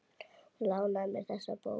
Hún lánaði mér þessa bók.